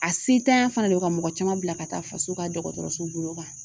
A sentanya fana don ka mɔgɔ caman bila ka taa faso ka dɔgɔtɔrɔso bolo kan